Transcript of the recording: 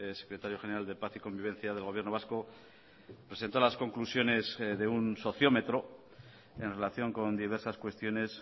secretario general de paz y convivencia del gobierno vasco presentó las conclusiones de un sociómetro en relación con diversas cuestiones